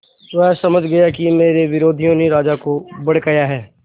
वह समझ गया कि मेरे विरोधियों ने राजा को भड़काया है